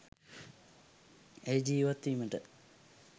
ඒ ජීවත් වීමට